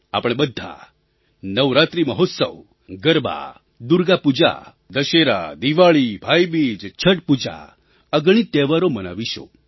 આપણે બધા નવરાત્રિ મહોત્સવ ગરબા દુર્ગા પૂજા દશેરા દિવાળી ભાઈબીજ છઠ પૂજા અગણિત તહેવારો મનાવીશું